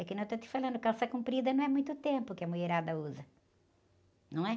É que não estou te falando, calça comprida não é muito tempo que a mulherada usa, não é?